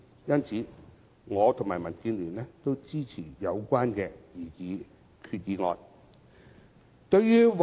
因此，我和民主建港協進聯盟均支持擬議決議案。